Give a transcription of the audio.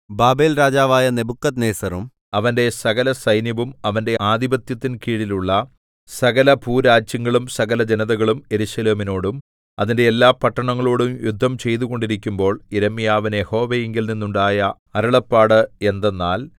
ബാബേൽരാജാവായ നെബൂഖദ്നേസരും അവന്റെ സകലസൈന്യവും അവന്റെ ആധിപത്യത്തിൻ കീഴുള്ള സകലഭൂരാജ്യങ്ങളും സകലജനതകളും യെരൂശലേമിനോടും അതിന്റെ എല്ലാപട്ടണങ്ങളോടും യുദ്ധം ചെയ്തുകൊണ്ടിരിക്കുമ്പോൾ യിരെമ്യാവിന് യഹോവയിങ്കൽ നിന്നുണ്ടായ അരുളപ്പാട് എന്തെന്നാൽ